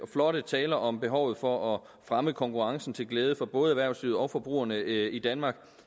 flotte taler om behovet for at fremme konkurrencen til glæde for både erhvervslivet og forbrugerne i danmark